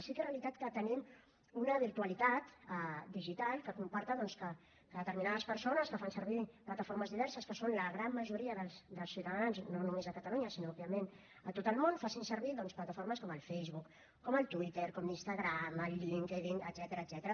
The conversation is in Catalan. sí que és realitat que tenim una virtualitat digital que comporta doncs que determinades persones que fan servir plataformes diverses que són la gran majoria dels ciutadans no només a catalunya sinó òbviament a tot el món facin servir doncs plataformes com el facebook com el twitter com l’instagram el linkedin etcètera